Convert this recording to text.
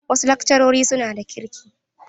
Wasu lakcarori suna da kirki.